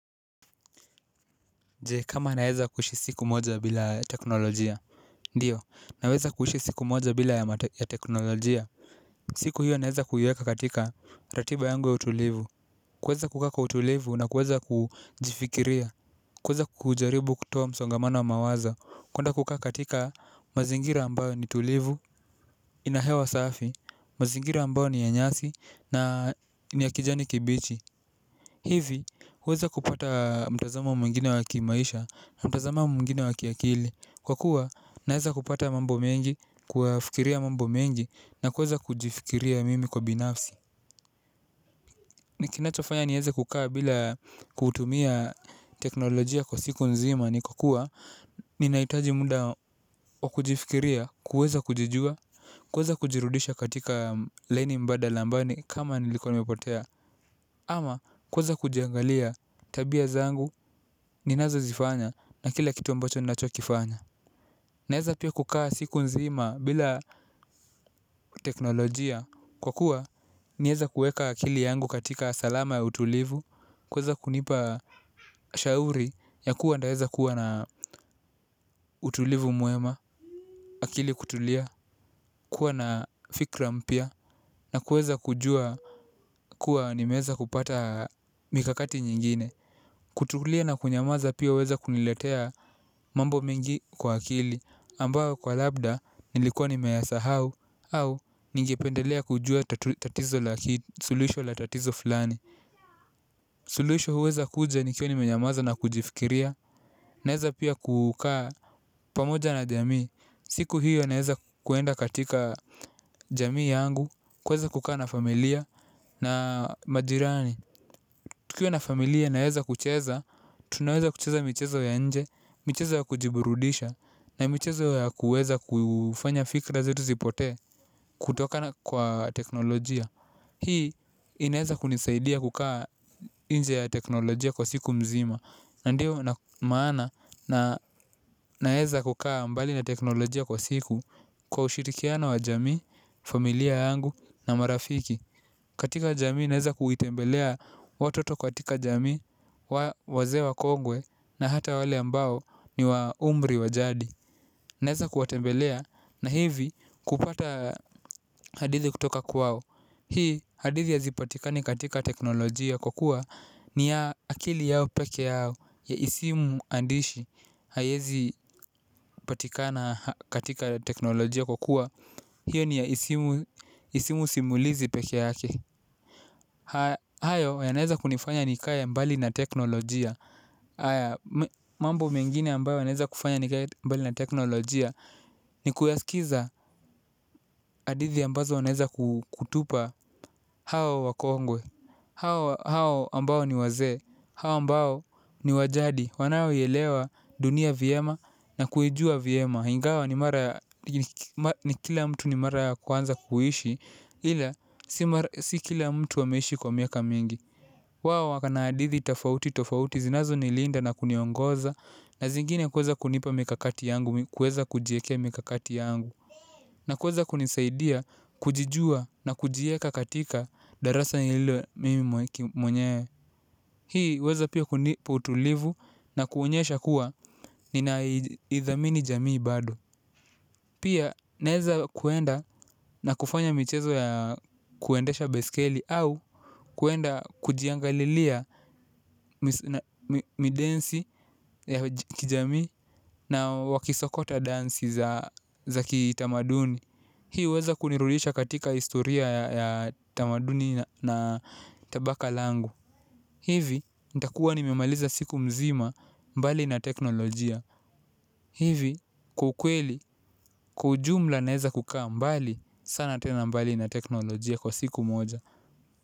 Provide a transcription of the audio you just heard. Je, kama naweza kuishi siku moja bila teknolojia. Ndiyo, naweza kuishi siku moja bila ya teknolojia. Siku hiyo naweza kuiweka katika ratiba yangu ya utulivu. Kuweza kukaa kwa utulivu na kuweza kujifikiria. Kuweza kujaribu kutoa msongamana wa mawazo. Kuenda kukaa katika mazingira ambayo ni tulivu. Ina hewa safi, mazingira ambayo ni ya nyasi na ni ya kijani kibichi. Hivi huweza kupata mtazamo mwingine wa kimaisha na mtazamo mwingina wa kiakili. Kwa kuwa naweza kupata mambo mengi, kuyafikiria mambo mengi na kuweza kujifikiria mimi kwa binafsi. Ni kinachofanya niweze kukaa bila kutumia teknolojia kwa siku nzima ni kwa kuwa ninahitaji muda wa kujifikiria, kuweza kujijua, kuweza kujirudisha katika laini mbadala ambayo ni kama nilikuwa nimepotea. Ama kuweza kujiangalia tabia zangu ninazozifanya na kila kitu ambacho ninachokifanya. Naweza pia kukaa siku nzima bila teknolojia kwa kuwa niweze kuweka akili yangu katika salama ya utulivu. Kuweza kunipa shauri ya kuwa nitaweza kuwa na utulivu mwema. Akili kutulia kuwa na fikra mpya na kuweza kujua kuwa nimeweza kupata mikakati nyingine. Kutulia na kunyamaza pia huweza kuniletea mambo mingi kwa akili ambao kwa labda nilikuwa nimeyasahau au ningependelea kujua tatizo la, suluhisho la tatizo fulani. Suluhisho huweza kuja nikiwa nimenyamaza na kujifikiria. Naweza pia kukaa pamoja na jamii. Siku hiyo naweza kuenda katika jamii yangu, kuweza kukaa na familia na majirani. Tukiwa na familia naweza kucheza. Tunaweza kucheza michezo ya nje. Michezo ya kujiburudisha na michezo ya kuweza kufanya fikra zetu zipotee kutokana kwa teknolojia. Hii inaweza kunisaidia kukaa nje ya teknolojia kwa siku mzima. Ndiyo na maana na naweza kukaa mbali na teknolojia kwa siku kwa ushirikiano wa jamii, familia yangu na marafiki. Katika jamii naweza kuitembelea watoto katika jamii, wazee wakongwe na hata wale ambao ni wa umri wa jadi. Naweza kuwatembelea na hivi kupata hadithi kutoka kwao. Hii hadithi hazipatikani katika teknolojia kwa kuwa ni ya akili yao peke yao si muandishi haiezipatikana katika teknolojia kwa kuwa hiyo ni ya isimu simulizi peke yake. Hayo yanaeza kunifanya nikae mbali na teknolojia. Mambo mengine ambayo yanaeza kufanya nikae mbali na teknolojia. Ni kuyaskiza hadithi ambazo unaweza kutupa hao wakongwe hao hao ambao ni wazee, hao ambayo ni wa jadi wanaoielewa dunia vyema na kuijua vyema ingawa ni kila mtu ni mara ya kwanza kuishi ila si kila mtu ameishi kwa miaka mingi. Wao waka na hadithi tofauti tofauti zinazonilinda na kuniongoza na zingine kuweza kunipa mikakati yangu kuweza kujiekea mikakati yangu na kuweza kunisaidia kujijua na kujieka katika darasa hilo mimi mwenyewe. Hii huweza pia kunipa utulivu na kuonyesha kuwa ninaidhamini jamii bado. Pia naweza kuenda na kufanya michezo ya kuendesha baiskeli au kuenda kujiangalilia midensi ya kijamii na wakisokota dansi za kitamaduni. Hii huweza kunirudisha katika historia ya tamaduni na tabaka langu. Hivi nitakuwa nimemaliza siku mzima mbali na teknolojia. Hivi kwa ukweli kwa ujumla naweza kukaa mbali sana tena mbali na teknolojia kwa siku moja.